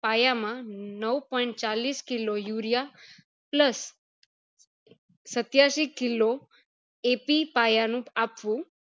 પાયા માં નવ point ચાલીસ urea plus સત્યાસી killoAP પાયા નું આપવું